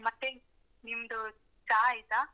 ಮತ್ತೆ? ನಿಮ್ದು ಚಾ ಆಯ್ತಾ?